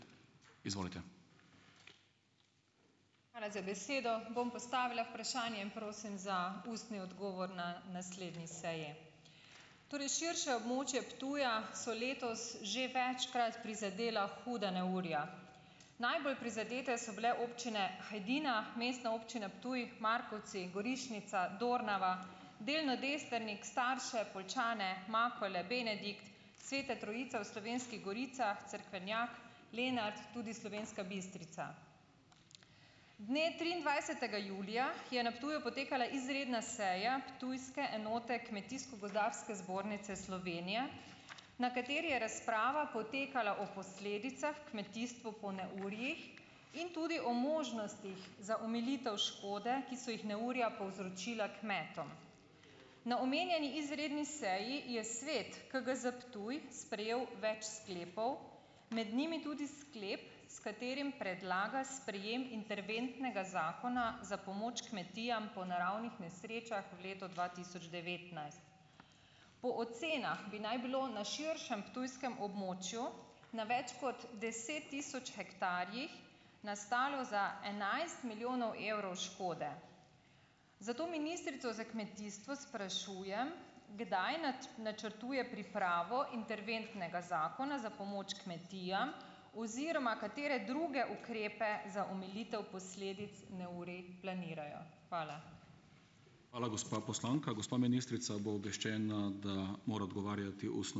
Hvala za besedo. Bom postavila vprašanje in prosim za ustni odgovor na naslednji seji. Torej širše območje Ptuja so letos že večkrat prizadela huda neurja. Najbolj prizadete so bile občine Hajdina, Mestna občina Ptuj, Markovci, Gorišnica, Dornava, delno Destrnik, Starše, Poljčane, Makole, Benedikt, Sveta Trojica v Slovenskih goricah, Cerkvenjak, Lenart, tudi Slovenska Bistrica. Dne triindvajsetega julija je na Ptuju potekala izredna seja ptujske enote Kmetijsko-gozdarske zbornice Slovenije, na kateri je razprava potekala o posledicah kmetijstvo po neurjih in tudi o možnostih za omilitev škode, ki so jih neurja povzročila kmetom. Na omenjeni izredni seji je svet KGZ Ptuj sprejel več sklepov, med njimi tudi sklep, s katerim predlaga sprejem interventnega zakona za pomoč kmetijam po naravnih nesrečah v letu dva tisoč devetnajst. Po ocenah bi naj bilo na širšem ptujskem območju na več kot deset tisoč hektarjih nastalo za enajst milijonov evrov škode. Zato ministrico za kmetijstvo sprašujem: Kdaj načrtuje pripravo interventnega zakona za pomoč kmetijam oziroma katere druge ukrepe za omilitev posledic neurij planirajo? Hvala.